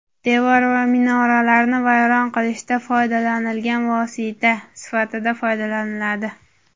devor va minoralarni vayron qilishda foydalanilgan vosita – tahr.)sifatida foydalaniladi.